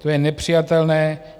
To je nepřijatelné.